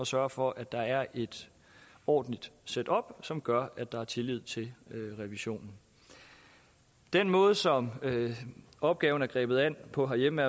sørge for at der er et ordentligt setup som gør at der er tillid til revisionen den måde som opgaven er grebet an på herhjemme